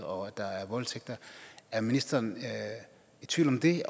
og at der er voldtægter er ministeren i tvivl om det